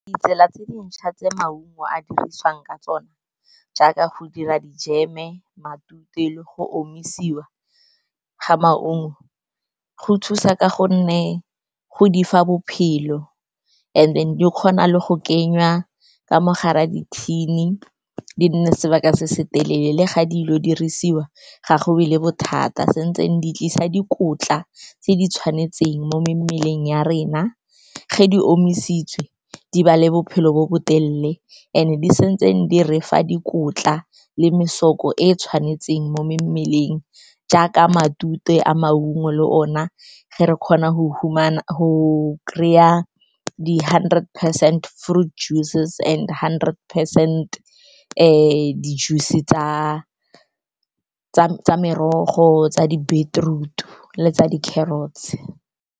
Ditsela tse dintšha tse maungo a dirisiwang ka tsona jaaka go dira dijeme, matute le go omisiwa ga maungo, go thusa ka gonne go di fa bophelo, and then di kgona le go kenya ka mogare a di-tin-e, di nne sebaka se se telele. Le ga dilo dirisiwa, ga gonne le bothata, santse di tlisa dikotla tse di tshwanetseng mo mmeleng ya rena. Ge di omisitswe, di ba le bophelo bo botelele and-e di sentsene di re fa dikotla le mesoko e e tshwanetseng mo mmeleng. Jaaka matute a maungo le ona ge re kgona kry-a di-hundred percent fruit juices and hundred percent tse di-juice tsa merogo tsa di-beetroot le tsa di-carrots.